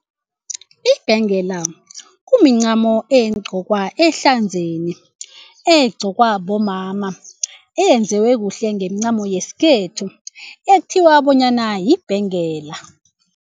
Ibhengela kumincamo egcokwa esandleni egcokwa bomama eyenziwe kuhle ngemincamo yesikhethu ekuthiwa bonyana yibhengela.